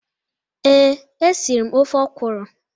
Ee, e siri m ofe okwụrụ.